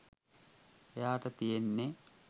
එයාට තියෙන්නෙ